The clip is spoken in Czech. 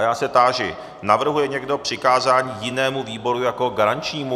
A já se táži - navrhuje někdo přikázání jinému výboru jako garančnímu?